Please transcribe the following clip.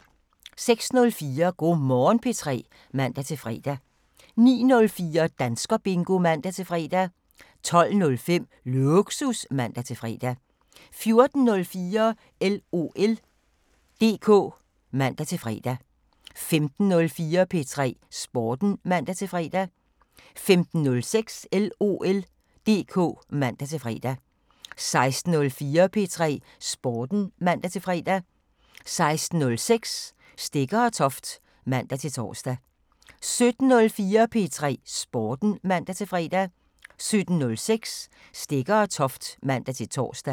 06:04: Go' Morgen P3 (man-fre) 09:04: Danskerbingo (man-fre) 12:05: Lågsus (man-fre) 14:04: LOL DK (man-fre) 15:04: P3 Sporten (man-fre) 15:06: LOL DK (man-fre) 16:04: P3 Sporten (man-fre) 16:06: Stegger & Toft (man-tor) 17:04: P3 Sporten (man-fre) 17:06: Stegger & Toft (man-tor)